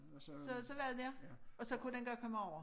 Så så var det det og så kunne den godt komme over